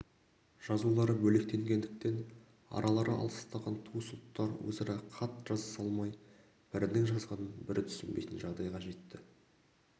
жазулары бөлектенгендіктен аралары алыстаған туыс ұлттар өзара хат жазыса алмай бірінің жазғанын бірі түсінбейтін жағдайға жетті